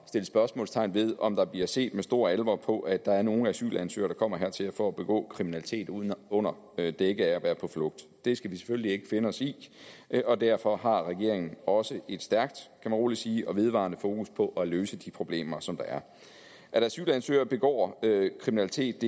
sætte spørgsmålstegn ved om der bliver set med stor alvor på at der er nogle asylansøgere der kommer hertil for at begå kriminalitet under dække af at være på flugt det skal vi selvfølgelig ikke finde os i og derfor har regeringen også et stærkt man rolig sige og vedvarende fokus på at løse de problemer som der er at asylansøgere begår kriminalitet